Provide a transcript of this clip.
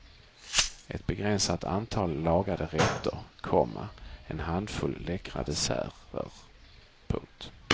Ett begränsat antal lagade rätter, komma en handfull läckra desserter. punkt